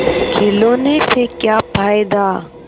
खिलौने से क्या फ़ायदा